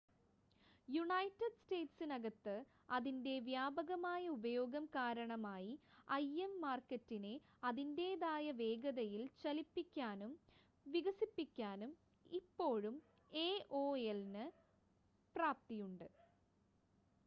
United സ്റ്റേറ്റ്സിനകത്ത് അതിൻ്റെ വ്യാപകമായ ഉപയോഗം കാരണമായി im മാർക്കറ്റിനെ അതിൻ്റേതായ വേഗതയിൽ ചലിപ്പിക്കാനും വികസിപ്പിക്കാനും ഇപ്പോഴും aol ന് പ്രാപ്തിയുണ്ട്